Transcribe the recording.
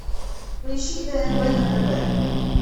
поищи тнв на тв